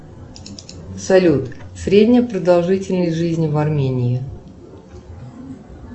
салют средняя продолжительность жизни в армении